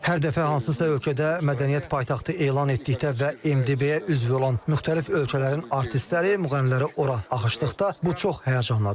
Hər dəfə hansısa ölkədə mədəniyyət paytaxtı elan etdikdə və MDB-yə üzv olan müxtəlif ölkələrin artistləri, müğənniləri ora axışdıqda, bu çox həyəcanlıdır.